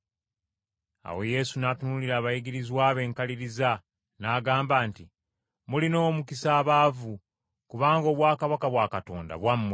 Awo Yesu n’atunuulira abayigirizwa be enkaliriza n’agamba nti, “Mulina omukisa abaavu, kubanga obwakabaka bwa Katonda bwammwe.